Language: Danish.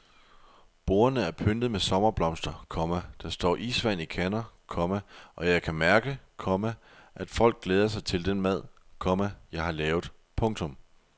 Bordene er pyntet med sommerblomster, komma der står isvand i kander, komma og jeg kan mærke, komma at folk glæder sig til den mad, komma jeg har lavet. punktum